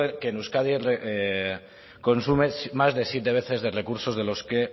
que en euskadi consume más de siete veces de recursos de los que